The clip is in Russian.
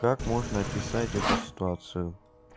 как можно описать эту ситуацию